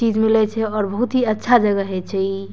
चीज मिले छै और बहुत ही अच्छा जगह हेय छै इ।